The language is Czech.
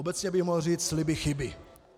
Obecně bych mohl říci sliby chyby.